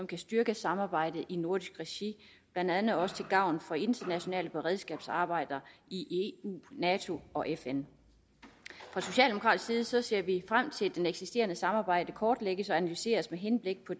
kan styrke samarbejdet i nordisk regi blandt andet også til gavn for internationale beredskabsarbejder i eu nato og fn fra socialdemokratisk side ser vi frem til at det eksisterende samarbejde kortlægges og analyseres med henblik på